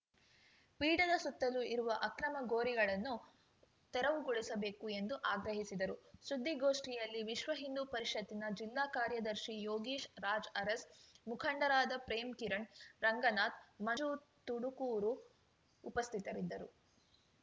ಪೀಠದ ಸುತ್ತಲೂ ಇರುವ ಅಕ್ರಮ ಗೋರಿಗಳನ್ನು ತೆರೆವುಗೊಳಿಸಬೇಕು ಎಂದು ಆಗ್ರಹಿಸಿದರು ಸುದ್ದಿಗೋಷ್ಠಿಯಲ್ಲಿ ವಿಶ್ವಹಿಂದೂ ಪರಿಷತ್‌ನ ಜಿಲ್ಲಾ ಕಾರ್ಯದರ್ಶಿ ಯೋಗೀಶ್‌ ರಾಜ್‌ ಅರಸ್‌ ಮುಖಂಡರಾದ ಪ್ರೇಮ್‌ಕಿರಣ್‌ ರಂಗನಾಥ್‌ ಮಂಜು ತುಡುಕೂರು ಉಪಸ್ಥಿತರಿದ್ದರು